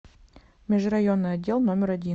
межрайонный отдел номер один